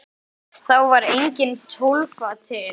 Þá var engin Tólfa til!